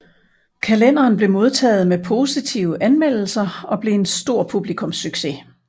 Kalenderen blev modtaget med positive anmeldelser og blev en stor publikumssucces